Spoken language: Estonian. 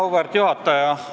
Auväärt juhataja!